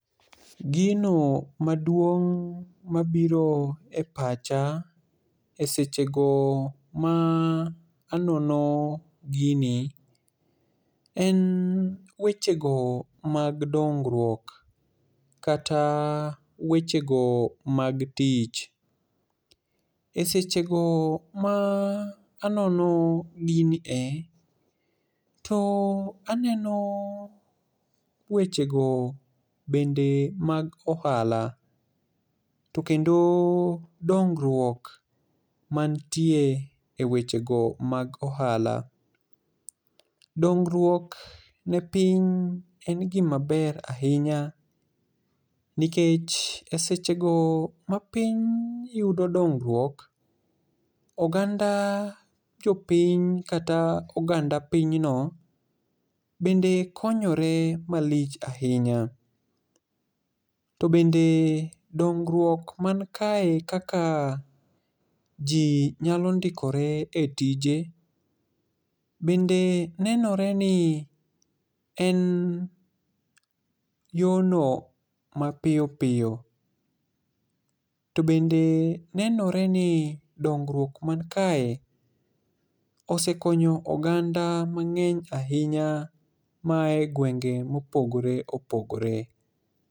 Gino maduong' mabiro e pacha e seche go ma anono gini en weche go mag dongruok, kata weche go mag tich. E seche go ma anono gini e, to aneno weche go bende mag ohala. To kendo dongruok mantie e weche go mag ohala. Dongruok ne piny en gima ber ahinya, nikech e seche go ma piny yudo dongruok, oganda jopiny kata oganda pinyno bende konyore malich ahinya. To bende dongruok man kae kaka ji nyalo ndikore e tije, bende nenore ni en yono ma piyo piyo. To bende nenore ni dongruok man kae osekonyo oganda mang'eny ahinya ma ae gwenge mopogore opogore.